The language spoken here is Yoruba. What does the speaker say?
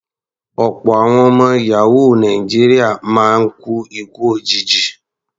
Ọ̀pọ̀ àwọn ọmọ yàhóò Nàìjíríà máa ń kú ikú òjijì.